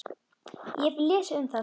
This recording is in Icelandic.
Ég hef lesið um það.